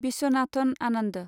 Viswanathan Anand